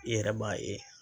I yɛrɛ b'a ye